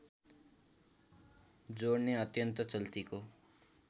जोडने अत्यन्त चल्तीको